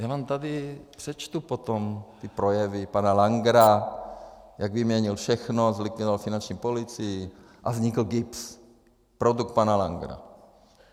Já vám tady přečtu potom ty projevy pana Langera, jak vyměnil všechno, zlikvidoval finanční policii a vznikl GIBS, produkt pana Langera.